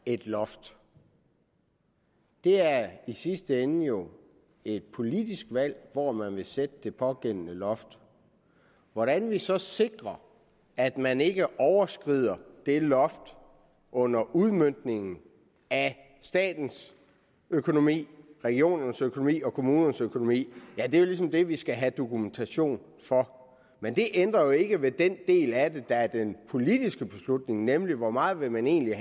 et loft det er i sidste ende jo et politisk valg hvor man vil sætte det pågældende loft hvordan vi så sikrer at man ikke overskrider det loft under udmøntningen af statens økonomi regionernes økonomi og kommunernes økonomi er jo ligesom det vi skal have dokumentation for men det ændrer ikke ved den del af det der er den politiske beslutning nemlig hvor meget man egentlig